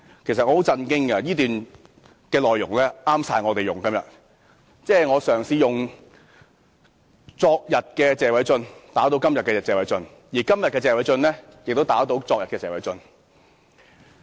其實我感到十分震驚，因為這段說話內容正適合我們今天引用，即我嘗試用昨天的謝偉俊議員打倒今天的謝偉俊議員，而今天的謝偉俊議員亦打倒昨天的謝偉俊議員。